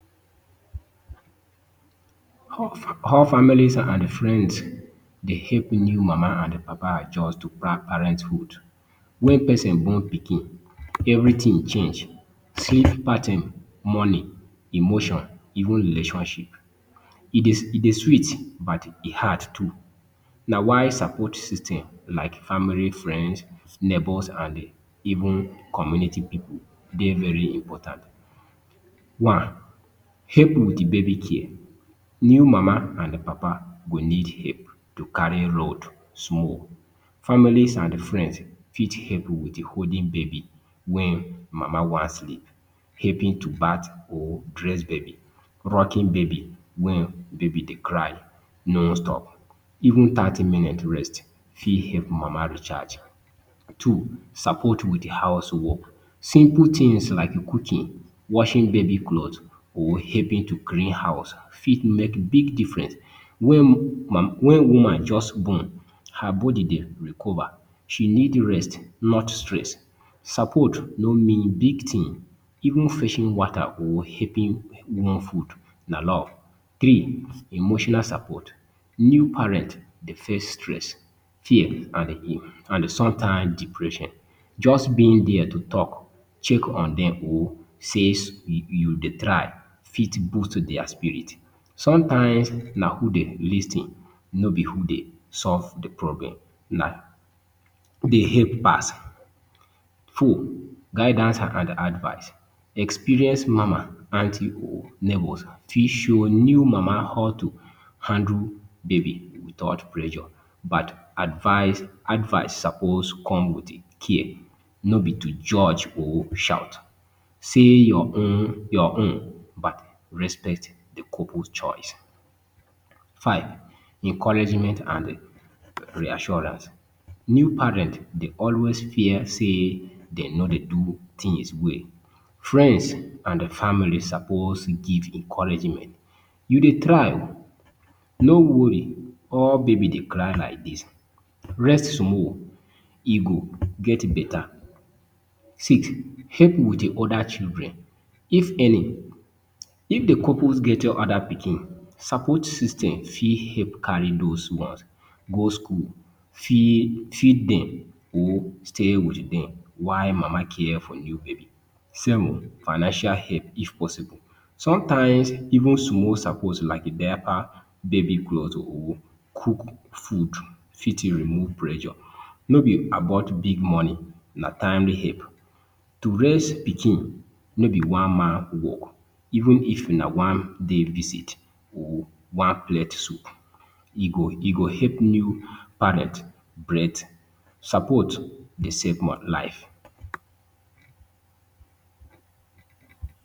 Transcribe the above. how families and friends dey help new mama and papa adjust to pa parenthood. Wen person born pikin, everytin change, sleep pattern, money, emotion, even relationship. E dey e dey sweet, but e hard too, na why support system like family, friends, neighbours and even community pipu dey very important. One, help wit baby care. New mama and papa go need help to carry load small. Families and friends fit help wit holding baby wen mama wan sleep. Helping to bath or dress baby, rocking baby wen baby dey cry no stop. Even thirty minute rest fit help mama recharge. Two, support with house work. Simple tins like cooking, washing baby cloths or helping to clean house fit make big difference. Wen mam wen woman just born, her body dey recover, she need rest not stress. Support nor mean big tin, even fetching water or helping warm food, na love. Three, emotional support. New parent dey face stress, fear, and e and some time depression. Just being dier to talk, check on dem or say you dey try fit boost dia spirit. Sometimes na who dey lis ten no be who dey solve di problem, na who dey help pass. Four, guidance and ad advice. Experienced mama, aunty or neighbours fit show new mama how to handle baby without pressure but advice, advice suppose come with care no be to judge or shout. Say your own your own but respect di couple’s choice. Five, encouragement and reassurance. New parent dey always fear sey den no dey do tins well. Friends and family suppose give encouragement. You dey try, no worry all baby dey cry like dis, rest small, you go get beta. Six, help wit oda children, if any. If di couple get oda pikin, support system fit help carry dose ones go school, fit feed dem or stay wit dem while mama care for new baby. Seven, financial help if possible. Sometimes, even small support like diaper, baby cloth or cook food fit remove pressure. No be about big money, na timely help. To raise pikin, no be one man work. Even if na one day visit or one plate soup, e go e go help new parent breath. Support dey save mo life.